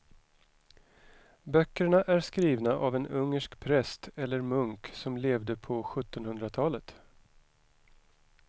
Böckerna är skrivna av en ungersk präst eller munk som levde på sjuttonhundratalet.